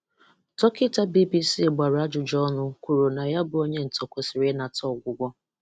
Dọkịta BBC gbara ajụjụ ọnụ kwuru na ya bụ onye ntọ kwesiri ịnata ọgwụgwọ.